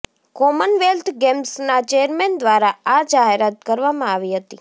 Commonwealth ગેમ્સના chairman દ્વારા આ જાહેરાત કરવામાં આવી હતી